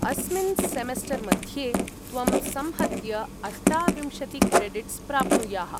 अस्मिन् सेमेस्टर्मध्ये त्वम् संहत्य अष्टाविंशतिक्रेडिट्स् प्राप्नुयाः।